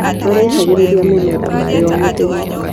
Araitagĩrĩria mĩmera maĩ o mũthenya.